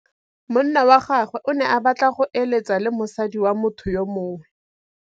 Monna wa gagwe o ne a batla go êlêtsa le mosadi wa motho yo mongwe.